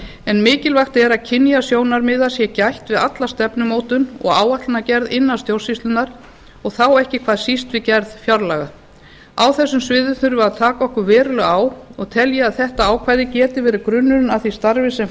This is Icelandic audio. en mikilvægt er að kynjasjónarmiða sé gætt við alla stefnumótun og áætlanagerð innan stjórnsýslunnar og þá ekki hvað síst við gerð fjárlaga á þessum sviðum þurfum við að taka okkur verulega á og tel ég að þetta ákvæði geti verið grunnurinn að því starfi sem